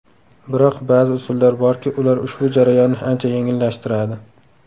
Biroq ba’zi usullar borki, ular ushbu jarayonni ancha yengillashtiradi.